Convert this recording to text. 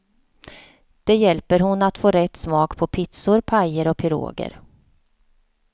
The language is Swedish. Det hjälper hon att få rätt smak på pizzor, pajer och piroger.